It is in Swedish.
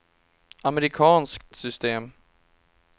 amerikanskt system